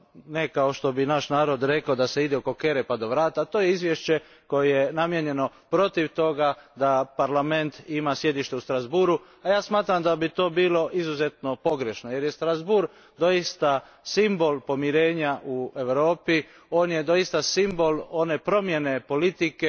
ne kao što bi naš narod rekao da se ide oko kere pa do vrata, to je izvješće koje je namijenjeno protiv toga da Parlament ima sjedište u Strasbourgu a ja smatram da bi to bilo izuzetno pogrešno jer je Strasbourg doista simbol pomirenja u Evropi, on je doista simbol one promjene politike